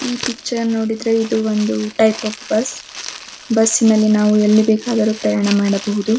ಈ ಪಿಕ್ಚರ್ ನೋಡಿದ್ರೆ ಇದ್ ಒಂದ್ ಟೈಪ್ ಆಫ್ ಬಸ್ ಬಸ್ಸಿ ನಲ್ಲಿ ನಾವು ಎಲ್ಲಿಬೇಕಾದಲ್ಲಿ ಪ್ರಯಾಣ ಮಾಡಬಹೂದು.